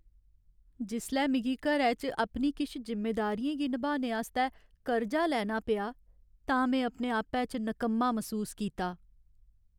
जिसलै मिगी घरै च अपनी किश जिम्मेदारियें गी नभाने आस्तै कर्जा लैना पेआ तां में अपने आपै च नकम्मा मसूस कीता।